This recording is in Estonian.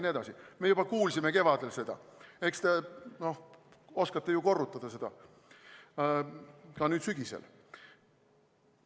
Me kuulsime seda juba kevadel, aga eks te oskate ju korrutada seda ka nüüd sügisel.